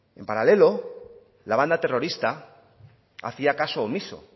en paralelo la banda terrorista hacía caso omiso